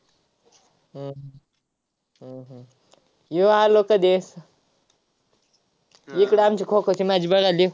हम्म हम्म ये आलो कधी ये तुला आमची खो-खोची match बघायले.